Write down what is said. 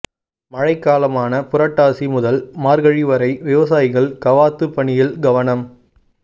மழைக்காலமான புரட்டாசி முதல் மார்கழி வரை விவசாயிகள் கவாத்து பணியில் கவனம்